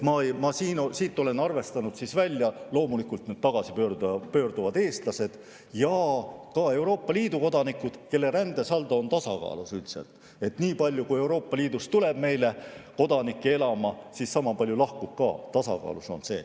Ma olen arvestusest jätnud loomulikult välja tagasipöörduvad eestlased ja ka Euroopa Liidu kodanikud, kelle rändesaldo on üldiselt tasakaalus, nii palju kui Euroopa Liidust tuleb kodanikke siia elama, sama palju ka lahkub, see on tasakaalus.